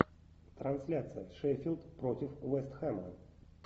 трансляция шеффилд против вест хэма